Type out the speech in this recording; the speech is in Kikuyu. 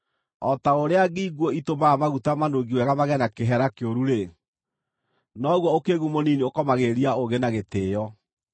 O ta ũrĩa ngi nguũ itũmaga maguta manungi wega magĩe na kĩheera kĩuru-rĩ, noguo ũkĩĩgu mũnini ũkomagĩrĩria ũũgĩ na gĩtĩĩo.